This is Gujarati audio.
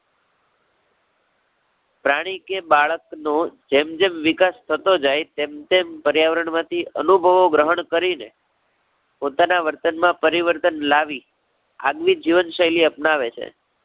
પ્રાણી કે બાળકનો જેમ જેમ વિકાસ થતો જાય, તેમ તેમ પર્યાવરણ માંથી અનુભવો ગ્રહણ કરી ને, પોતાના વર્તન માં પરીવર્તન લાવી, આજની જીવન શૈલી અપનાવે છે.